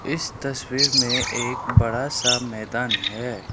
इस तस्वीर में एक बड़ा सा मैदान है।